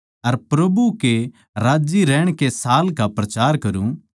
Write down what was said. अर प्रभु कै राज्जी रहण कै साल का प्रचार करूँ